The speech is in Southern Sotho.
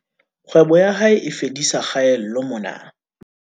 Kgwebo ya hae e fedisa kgaello mona